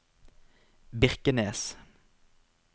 Birkenes